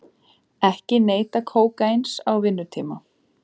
Ekki neyta kókaíns á vinnutíma